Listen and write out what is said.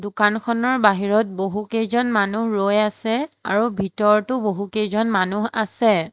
দোকানখনৰ বাহিৰত বহুকেইজন মানুহ ৰৈ আছে আৰু ভিতৰতো বহুকেইজন মানুহ আছে।